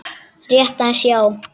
Rétt aðeins, já.